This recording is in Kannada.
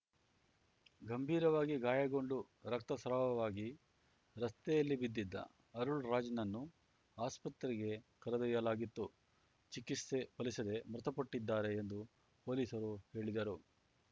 ಗಂಭೀರವಾಗಿ ಗಾಯಗೊಂಡು ರಕ್ತಸ್ರಾವವಾಗಿ ರಸ್ತೆಯಲ್ಲಿ ಬಿದ್ದಿದ್ದ ಅರುಳ್‌ರಾಜ್‌ನನ್ನು ಆಸ್ಪತ್ರೆಗೆ ಕರೆದೊಯ್ಯಲಾಗಿತ್ತು ಚಿಕಿತ್ಸೆ ಫಲಿಸದೆ ಮೃತಪಟ್ಟಿದ್ದಾರೆ ಎಂದು ಪೊಲೀಸರು ಹೇಳಿದರು